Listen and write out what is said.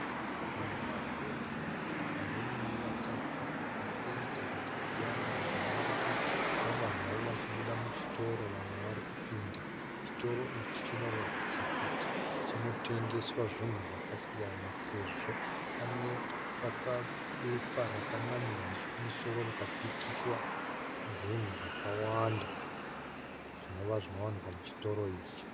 Vanhu vazhinji varume nevakadzi varikuita zvakasiyana vamwe varikufamba zvavo vachibuda muchitoro vamwe varikupinda, chitoro ichi chinoratidza kuti chinotengeswa zvinhu zvakasiyana sezvo pane bepa rakanamirwa nechekumusoro rikapikichiwa zvinhu zvakawanda zvinova zvinowanikwa muchitoro ichi.